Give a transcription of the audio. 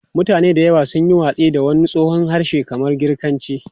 Mutane da yawa sun yi watsi da wani tsohon harshe kamar Girkanci.